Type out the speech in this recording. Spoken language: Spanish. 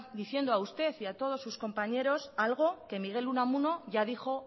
diciendo a usted y a todos sus compañeros algo que miguel unamuno ya dijo